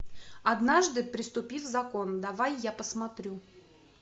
однажды преступив закон давай я посмотрю